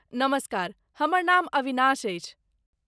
नमस्कार, हमर नाम अविनाश अछि।